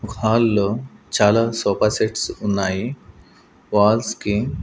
ఒక హాల్ లో చాలా సోఫా సెట్స్ ఉన్నాయి. వాల్స్ కి --